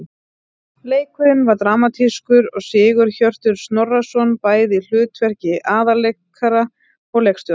Leikurinn var dramatískur og Sigurhjörtur Snorrason bæði í hlutverki aðalleikara og leikstjóra.